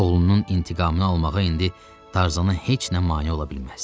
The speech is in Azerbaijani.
Oğlunun intiqamını almağa indi Tarzana heç nə mane ola bilməzdi.